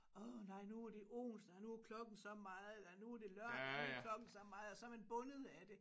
Åh nej nu er det onsdag og nu er klokken så meget og nu er det lørdag nu er klokken så meget og så er man bundet af det